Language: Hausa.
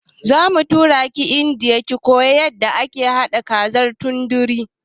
Zamu turaki indiya ki koya yanda ake haɗa kazar tandori